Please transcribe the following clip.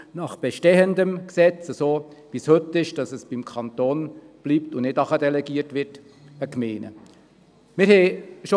Das bestehende Gesetz sollte nicht verändert werden, und es sollte keine Delegation vom Kanton an die Gemeinden erfolgen.